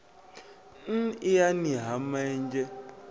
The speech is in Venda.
n iani ha ma enzhe